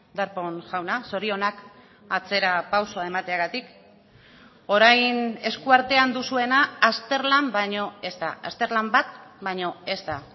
darpón jauna zorionak atzerapausoa emateagatik orain eskuartean duzuena azterlan baino ez da azterlan bat baino ez da